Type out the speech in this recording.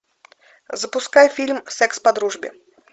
запускай фильм секс по дружбе